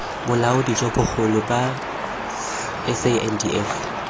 bolaodi jo bogolo jwa sandf